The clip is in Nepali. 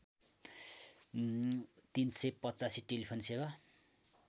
३८५ टेलिफोन सेवा